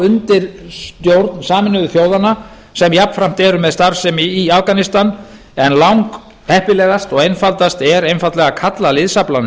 undir stjórn sameinuðu þjóðanna sem jafnframt eru með starfsemi í afganistan en langheppilegast og einfaldast er einfaldlega að kalla liðsaflann